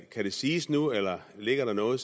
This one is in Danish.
kan det siges nu eller ligger der noget